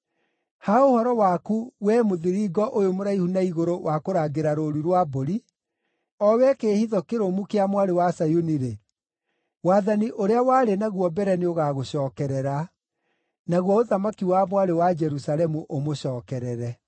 Ha ũhoro waku, wee mũthiringo ũyũ mũraihu na igũrũ wa kũrangĩra rũũru rwa mbũri, o wee kĩĩhitho kĩrũmu kĩa Mwarĩ wa Zayuni-rĩ, wathani ũrĩa warĩ naguo mbere nĩũgagũcookerera; naguo ũthamaki wa Mwarĩ wa Jerusalemu ũmũcookerere.”